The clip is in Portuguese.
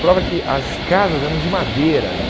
Prova que as casas eram de madeira ali.